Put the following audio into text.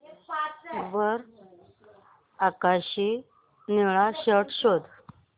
वर आकाशी निळा शर्ट शोध